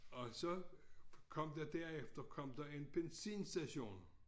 Og så kom der derefter kom der en benzinstation